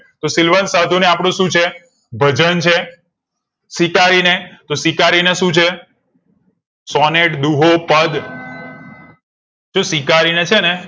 સિલવંત સાધુ ને આપડુ શું છે? ભજન છે. સ્વીકારીને તો સ્વીકારીને શું છે સોને દુહો પદ સ્વીકારીને છે ને